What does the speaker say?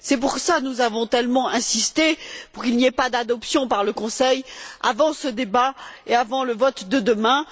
c'est pour cela que nous avons tellement insisté pour qu'il n'y ait pas d'adoption par le Conseil avant ce débat et avant le vote de demain.